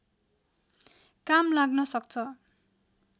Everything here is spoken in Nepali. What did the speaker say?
काम लाग्न सक्छ